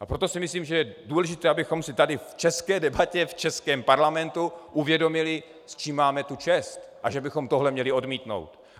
A proto si myslím, že je důležité, abychom si tady v české debatě v českém parlamentu uvědomili, s čím máme tu čest a že bychom tohle měli odmítnout.